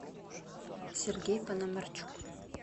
сергей пономарчук